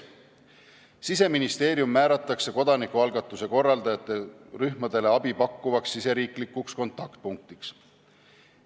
Siseministeerium määratakse kodanikualgatuse korraldajate rühmadele abi pakkuvaks siseriiklikuks kontaktpunktiks.